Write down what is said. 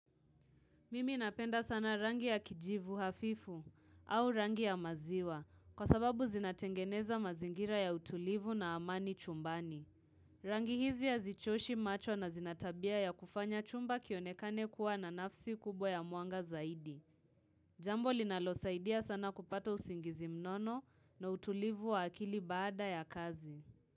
Mimi napenda sana rangi ya kijivu hafifu au rangi ya maziwa kwa sababu zinatengeneza mazingira ya utulivu na amani chumbani. Rangi hizi ya hazichoshi macho na zinatabia ya kufanya chumba kionekane kuwa na nafsi kubwa ya mwanga zaidi. Jambo linalo saidia sana kupata usingizi mnono na utulivu wa akili baada ya kazi.